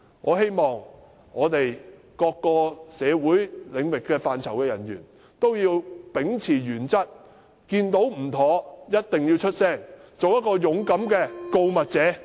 我希望各社會領域範疇的人員也要秉持原則，看到有問題的地方就一定要說出來，做一個勇敢的告密者。